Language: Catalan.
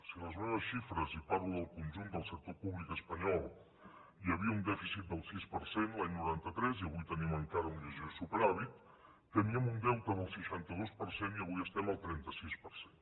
si a les meves xifres i parlo del conjunt del sector públic espanyol hi havia un dèficit del sis per cent l’any noranta tres i avui tenim encara un lleuger superàvit teníem un deute del seixanta dos per cent i avui estem al trenta sis per cent